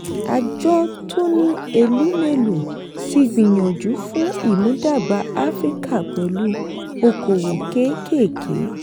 àjọ tony elumelu ti gbìyànjú fún ìmúdàgba africa pẹ̀lú okòwò kékèké.